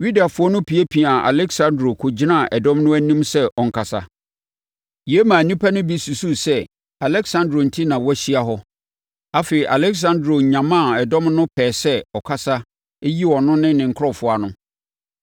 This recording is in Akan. Yudafoɔ no piapiaa Aleksandro kɔgyinaa dɔm no anim sɛ ɔnkasa. Yei maa nnipa no bi susuu sɛ Aleksandro enti na wɔahyia hɔ. Afei, Aleksandro nyamaa dɔm no pɛɛ sɛ ɔkasa yi ɔno ne ne nkurɔfoɔ ano.